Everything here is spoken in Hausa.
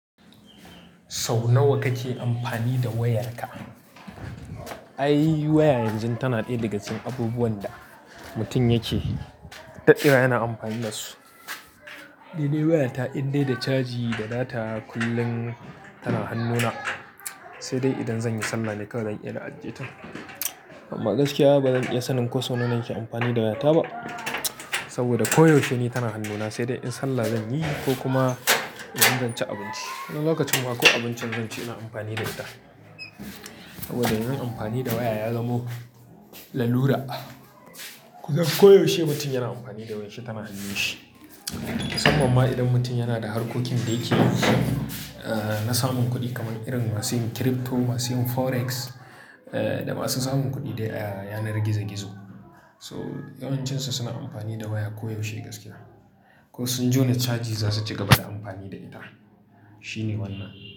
Sau nawa kake amfani da wayarka? Ai, waya yanzu tana ɗaya daga cikin abubuwan da mutum yake, daɗewa yana amfani da su. Ni dai waya ta indai da caji da data kullum tana hannuna, sai dai idan zan yi Sallah ne kawai zan iya na ajiye ta. Amma gaskiya ba zan iya sanin ko sau nawa nake amfani da waya ta ba. Saboda koyaushe ni tana hannuna sai dai in Sallah zan yi ko kuma idan zan ci abinci. Wani lokacin ma ko abincin zan ci ina amfani da ita. Saboda yin amfani da waya ya zamo lalura. Kusan koyaushe mutum yana amfani da wayar shi tana hannun shi. Musamman ma idan mutum yana da harkokin da yake yi, na samun kuɗi kamar irin masu yin crypto, masu yin forex, da masu samun kuɗi dai a yanar gizo gizo. To, yawancinsu suna amfani da waya koyaushe gaskiya. Ko sun jona caji za su ci gaba da amfani da ita, shine wannan.